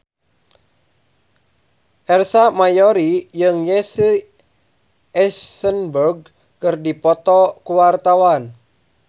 Ersa Mayori jeung Jesse Eisenberg keur dipoto ku wartawan